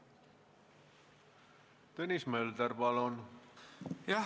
Tõnis Mölder, palun!